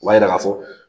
O b'a yira k'a fɔ